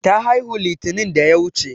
Ta haihu litinin da ya wuche.